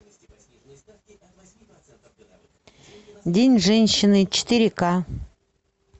день женщины четыре ка